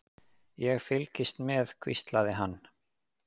Ég fylgist með, hvíslaði hann.